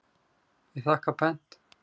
Ég þakka pent.